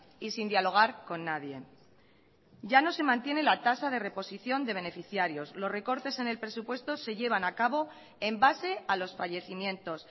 y sin dialogar con nadie ya no se mantiene la tasa de reposición de beneficiarios los recortes en el presupuesto se llevan a cabo en base a los fallecimientos